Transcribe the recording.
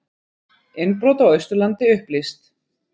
Innbrot á Austurlandi upplýst